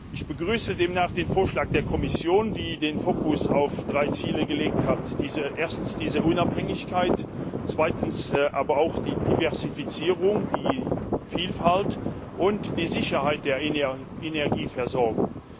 Ich begrüße demnach den Vorschlag der Kommission, die den Fokus auf drei Ziele gelegt hat erstens, diese Unabhängigkeit, zweitens aber auch die Diversifizierung, die Vielfalt und die Sicherheit der Energieversorgung.